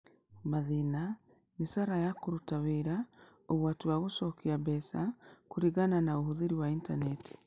Mathĩna: Mĩcaara ya kũruta wĩra, ũgwati wa gũcokia mbeca, kũringana na ũhũthĩri wa intaneti